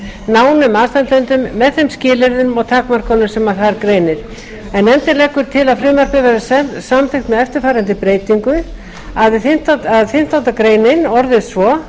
nánum aðstandendum með þeim skilyrðum og takmörkunum sem þar greinir nefndin leggur til að frumvarpið verði samþykkt með eftirfarandi breytingu við fimmtándu grein greinin orðist svo